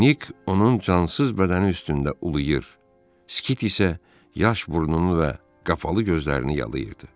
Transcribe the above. Nik onun cansız bədəni üstündə uluyur, Skit isə yaş burnunu və qapalı gözlərini yalıyırdı.